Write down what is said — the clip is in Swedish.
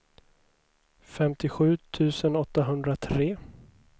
femtiosju tusen åttahundratre